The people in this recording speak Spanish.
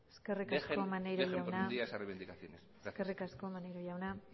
dejen por un día esas reivindicaciones gracias eskerrik asko maneiro jauna